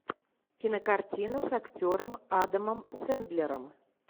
кинокартина с актером адамом сэндлером